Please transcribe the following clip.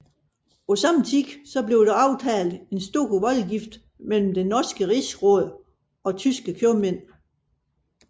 På samme tid blev der aftalt en stor voldgift mellem det norske rigsråd og tyske købmænd